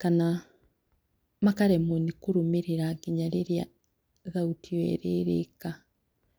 kana makaremwo nĩ kũrũmĩrĩra nginya rĩrĩa thauti ĩyo ĩrĩrĩka.